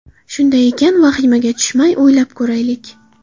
Shunday ekan, vahimaga tushmay o‘ylab ko‘raylik.